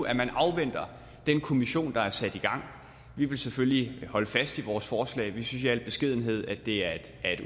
at man afventer den kommission der er sat i gang vi vil selvfølgelig holde fast i vores forslag vi synes i al beskedenhed at det er et